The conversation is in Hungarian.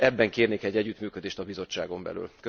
Ebben kérnék egy együttműködést a Bizottságon belül.